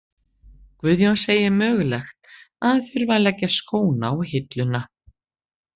Guðjón segir mögulegt að hann þurfi að leggja skóna á hilluna.